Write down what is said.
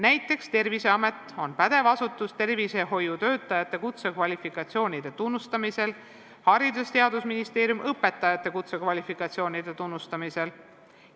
Näiteks Terviseamet on pädev asutus tervishoiutöötajate kutsekvalifikatsioonide tunnustamisel, Haridus- ja Teadusministeerium õpetajate kutsekvalifikatsioonide tunnustamisel.